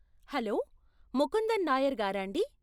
Hello! Mukundan Nair గారాండీ?